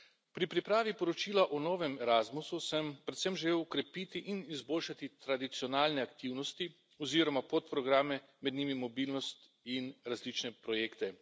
Pri pripravi poročila o novem Erasmusu sem predvsem želel okrepiti in izboljšati tradicionalne aktivnosti oziroma podprograme, med njimi mobilnost in različne projekte.